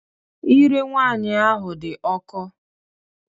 Ire nwaanyị ahụ dị ọkụ.